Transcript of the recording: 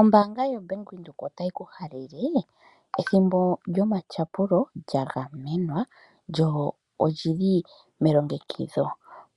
Ombanga ya Bank Windhoek otayi ku halele ethimbo lyomatyapulo lya gamenwa lyo olili melongekidho,